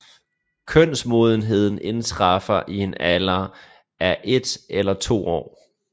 Kønsmodenheden indtræffer i en alder af et eller to år